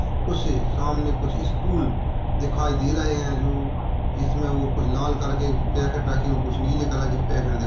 उसे सामने कुछ स्टूल दिखाई दे रहे हैं जो इसमें और कुछ लाल करके पैकेट रखे हैं कुछ नीले कलर के पैकेट दे --